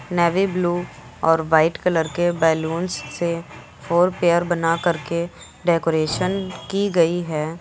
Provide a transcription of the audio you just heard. Navy blue और white colour के balloons से फोर पेयर बना करके डेकोरेशन की गई है।